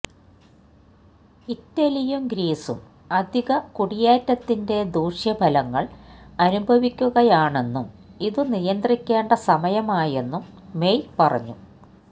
ഇറ്റലിയും ഗ്രീസും അധിക കുടിയേറ്റത്തിന്റെ ദൂഷ്യഫലങ്ങള് അനുഭവിക്കുകയാണെന്നും ഇതു നിയന്ത്രിക്കേണ്ട സമയമായെന്നും മെയ് പറഞ്ഞു